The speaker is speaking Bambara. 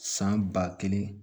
San ba kelen